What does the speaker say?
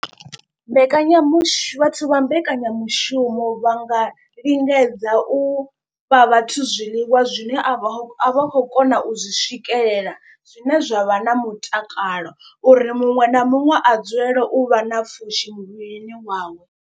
Mbekanyamushu vhathu vha mbekanyamushumo vha nga lingedza u fha vhathu zwiḽiwa zwine a vha a vha khou kona u zwi swikelela. Zwine zwa vha na mutakalo uri muṅwe na muṅwe a dzulele u vha na pfhushi muvhilini wawe.